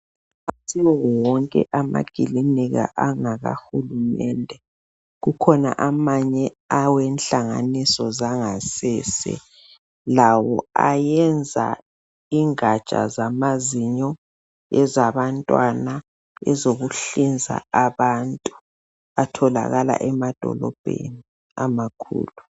Akusiwo wonke amaclinika angakahulumende , kukhona amanye awenhlanganiso zangasese lawo ayenza ingatsha zamazinyo ezabantwana ezokuhlinza abantu atholakala emadolobheni amakhulu.